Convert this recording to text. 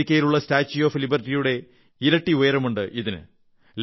അമേരിക്കയിലുള്ള statue of ലിബർട്ടിയുടെ ഇരട്ടി ഉയരമുണ്ടിതിന്